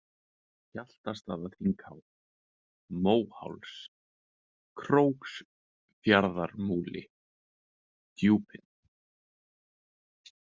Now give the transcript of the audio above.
Hjaltastaðaþinghá, Móháls, Króksfjarðarmúli, Djúpin